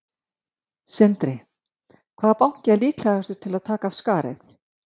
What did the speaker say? Sindri: Hvaða banki er líklegastur til að taka af skarið?